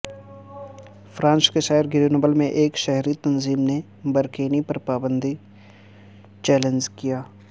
France کے شہر Grenoble میں ایک شہری تنظیم نے برکینی پر پابندی کو چیلنج کیا